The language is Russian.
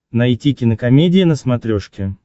найти кинокомедия на смотрешке